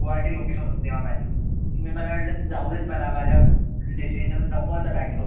Guwahati location होती तेव्हा माझी. मी मला वाटलं जाऊदेत मला माझ्या destination नको आता bangalore